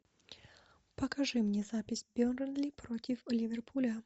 покажи мне запись бернли против ливерпуля